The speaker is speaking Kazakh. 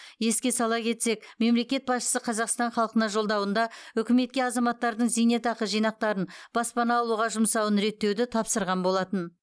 еске сала кетсек мемлекет басшысы қазақстан халқына жолдауында үкіметке азаматтардың зейнетақы жинақтарын баспана алуға жұмсауын реттеуді тапсырған болатын